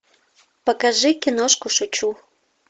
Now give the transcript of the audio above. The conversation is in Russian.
покажи киношку шучу